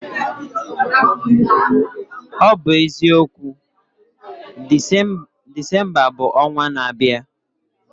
Ọ bụ eziokwu, Disemba bụ ọnwa n'abịa